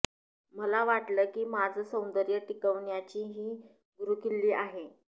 मला वाटलं की माझं सौंदर्य टिकवण्याची ही गुरुकिल्ली आहे